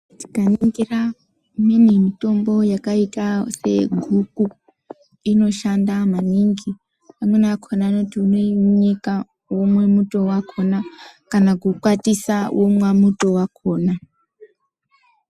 Tikaningira mimwe mitombo yakaita seyeguku inoshanda maningi vamweni vakhona vanoti unoinyika wemwe muto wakhona kana kukwatisa womwe muto wakhona.